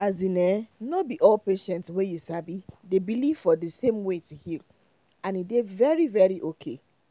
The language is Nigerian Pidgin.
as in[um]no be all patient way you sabi dey believe for the same way to heal and e dey very very okay